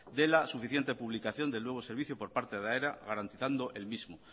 de la suficiente publicación del nuevo servicio por parte de aena garantizando el mismo